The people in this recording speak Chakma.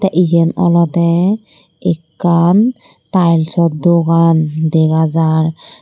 yen olode ekkan tilesaw dogan dega jar.